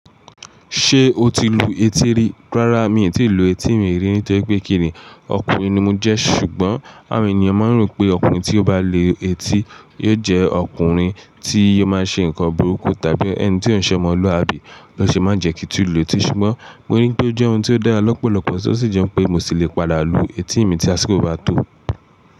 Ṣé o ti lu etí rí? Rárá mi n tíì lu etí mi rí nítorí pé kíni ọkùnrin ni mo jẹ́ ṣùgbọ́n àwọn ènìyàn máa ń rò pé ọkùnrin tí ó bá lu etí yóò jẹ́ ọkùnrin tí ò máa ṣe nǹkan burúkú tàbí ẹni tí ò n ṣọmọlúwàbí ló ṣe máa jẹ kí n tì lù etí ṣùgbọ́n mo rí i pé ó jẹ́ ohun tí ó dára lọ́pọ̀lọpọ̀ tọ́ sì jẹ́ pé mo ṣì lè padà lu etí mi tí àsìkò bá tó.